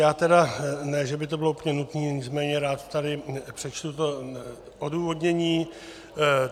Já tedy, ne že by to bylo úplně nutné, nicméně rád tady přečtu to odůvodnění.